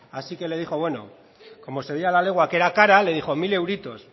así que le dijo bueno como se veía a la legua que era cara le dijo mil euritos